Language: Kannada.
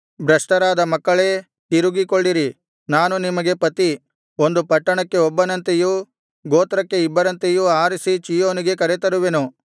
ಭ್ರಷ್ಟರಾದ ಮಕ್ಕಳೇ ತಿರುಗಿಕೊಳ್ಳಿರಿ ನಾನು ನಿಮಗೆ ಪತಿ ಒಂದು ಪಟ್ಟಣಕ್ಕೆ ಒಬ್ಬನಂತೆಯೂ ಗೋತ್ರಕ್ಕೆ ಇಬ್ಬರಂತೆಯೂ ಆರಿಸಿ ಚೀಯೋನಿಗೆ ಕರೆತರುವೆನು